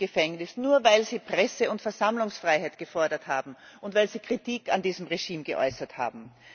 die sitzen im Gefängnis, nur weil sie Presse und Versammlungsfreiheit gefordert haben und weil sie Kritik an diesem Regime geäußert haben.